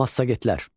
Massagetlər.